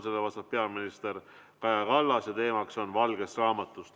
Sellele vastab peaminister Kaja Kallas ja teema on valge raamat.